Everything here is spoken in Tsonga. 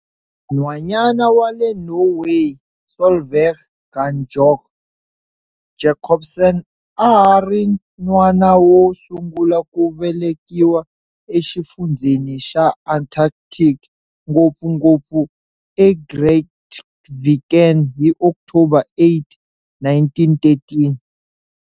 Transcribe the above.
Nhwanyana wa le Norway Solveig Gunbjørg Jacobsen a a ri n'wana wo sungula ku velekiwa eXifundzheni xa Antarctic, ngopfungopfu eGrytviken hi October 8, 1913.